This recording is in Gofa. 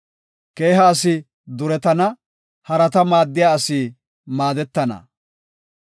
Keeha asi duretana; harata maaddiya asi maadetana.